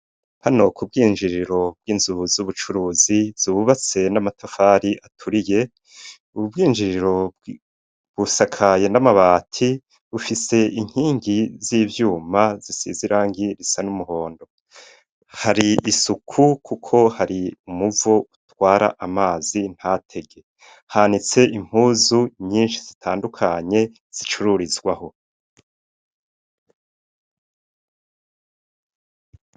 Hano k’ubwinjiriro bw'inzubu z'ubucuruzi zububatse n'amatafari aturiye ububwinjiriro busakaye n'amabati bufise inkingi z'ivyuma zisizirangi risa n'umuhondo, hari isuku kuko hari umuvu utwara amazi nta tege hanitse impuzu nyinshi zitandukanye zicururizwaho.